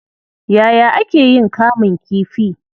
Yaya ake yin kamun kifii?